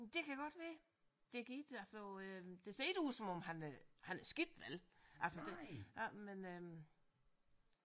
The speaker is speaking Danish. Det kan godt være det giver da så det ser ikke ud som om han øh han er skidt vel altså det ja men øh